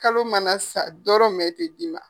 Kalo mana sa dɔrɔmɛn tɛ d'i ma.